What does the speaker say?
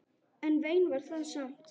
En vein var það samt.